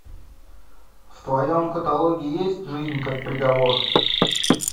в твоем каталоге есть жизнь как приговор